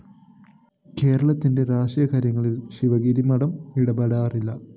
കേരളത്തിന്റെ രാഷ്ട്രീയ കാര്യങ്ങളില്‍ ശിവഗിരി മഠം ഇടപെടാറില്ല